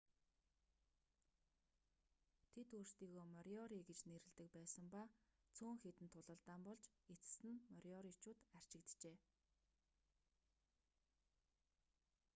тэд өөрсдийгөө мориори гэж нэрлэдэг байсан ба цөөн хэдэн тулалдаан болж эцэст нь мориоричууд арчигджээ